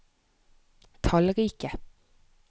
tallrike